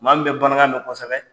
Maa min bɛ Banankan mɛn kosɛbɛ.